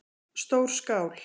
Stór skál